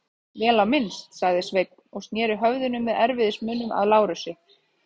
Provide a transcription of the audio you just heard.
Vel á minnst, sagði Sveinn og sneri höfðinu með erfiðismunum að Lárusi.